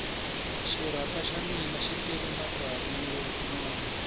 xirapha xa mina xi tele matsavu yo nona